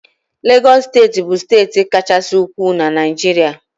Legọs steeti bụ steeti Kachasị ukwuu na Naịjirịa.